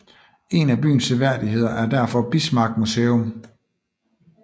En af byens seværdigheder er derfor Bismarck Museum